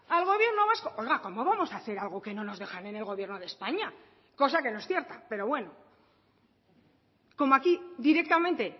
al gobierno vasco oiga cómo vamos a hacer algo que no nos dejan en el gobierno de españa cosa que no es cierta pero bueno como aquí directamente